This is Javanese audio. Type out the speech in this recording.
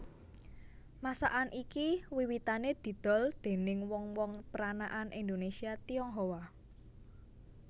Masakan iki wiwitané didol déning wong wong peranakan Indonésia Tionghoa